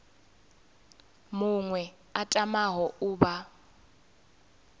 muṅwe a tamaho u vha